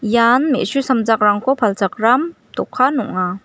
ian me·su samjakrangko palchakram dokan ong·a.